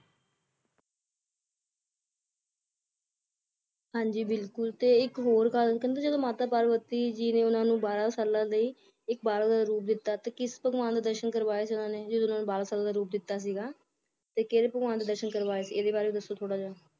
ਹਾਂਜੀ ਬਿਲਕੁਲ ਤੇ ਇੱਕ ਹੋਰ ਗੱਲ ਕਹਿੰਦੇ ਜਦੋ ਮਾਤਾ ਪਾਰਵਤੀ ਜੀ ਨੇ ਓਹਨਾ ਨੂੰ ਬਾਰਾਂ ਸਾਲਾਂ ਲਈ ਇੱਕ ਬਾਲਕ ਦਾ ਰੂਪ ਦਿੱਤਾ ਕਿਸ ਭਗਵਾਨ ਦੇ ਦਰਸ਼ੇ ਕਰਾਏ ਸੀ ਜਦੋ ਓਹਨਾ ਨੂੰ ਬਾਰਾਂ ਸਾਲਾਂ ਦਾ ਰੂਪ ਦਿੱਤਾ ਸੀਗਾ ਤਾਂ ਕਿਹੜੇ ਭਗਵਾਨ ਦੇ ਦਰਸ਼ਨ ਕਰਵਾਏ ਸੀ ਇਹਦੇ ਬਾਰੇ ਦੱਸੋ ਥੋੜਾ ਜਿਹਾ